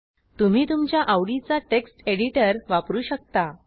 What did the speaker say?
तुम्ही तुमच्या आवडीचा टेक्स्ट एडिटर वापरू शकता